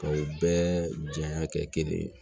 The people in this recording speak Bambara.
Ka u bɛɛ janya kɛ kelen ye